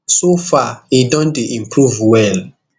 so far e don dey improve well